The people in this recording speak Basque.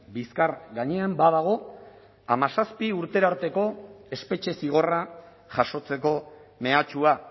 bizkar gainean badago hamazazpi urtera arteko espetxe zigorra jasotzeko mehatxua